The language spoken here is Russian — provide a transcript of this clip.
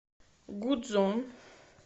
гудзон